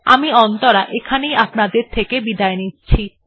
আমি অন্তরা এখানে ই আপনাদের থেকে বিদায় নিচ্ছি